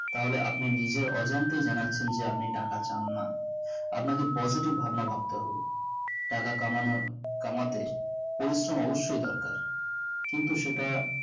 তাহলে আপনি নিজের অজান্তেই জানাচ্ছেন যে আপনি টাকা চান না আপনাকে positive ভাবনা ভাবতে হবে টাকা কামানোর কামাতে পরিশ্রম অবশ্যই দরকার কিন্তু সেটা